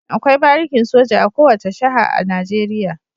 Akwai barikin soja a kowace jiha a Najeriya.